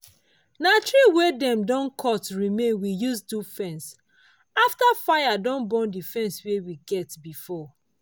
na tree wey dem don cut remain we use do fence now after fire burn the fence wey we get before.